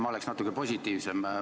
Ma oleksin natuke positiivsem.